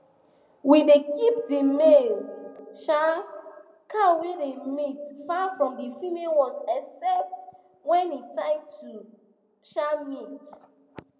we dey keep the male um cow wey dey mate far from the female ones except when e time to um mate